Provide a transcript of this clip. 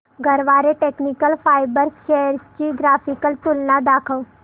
Garware technical fibres shares ची graphical तुलना दाखव